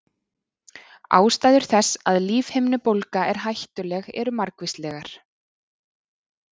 Ástæður þess að lífhimnubólga er hættuleg eru margvíslegar.